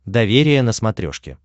доверие на смотрешке